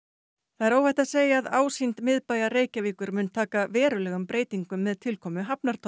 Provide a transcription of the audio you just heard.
er óhætt að segja að ásýnd miðbæjar Reykjavíkur mun taka verulegum breytingum með tilkomu